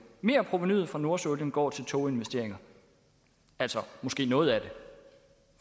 merprovenuet fra nordsøolien går til toginvesteringer altså måske noget af det